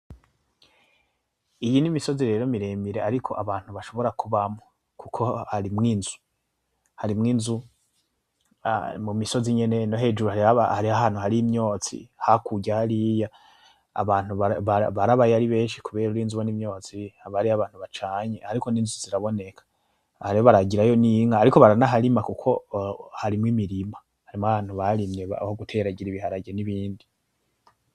Iyi n'imisozi rero miremire ariko abantu bashobora kubamwo kuko harimwo inzu, harimwo inzu mu misozi nyene no hejuru hariho ahantu hari imyotsi hakurya hariya abantu barabayo ari benshi, kubera urinze ubona imyotsi haba hariyo abantu bacanye, ariko n'inzu ziraboneka, aha rero bararagirayo n'inka ariko baranaharima kuko harimwo imirima, harimwo ahantu barimye aho guteragira ibiharage n'ibindi.